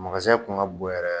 Kun ka bon yɛrɛ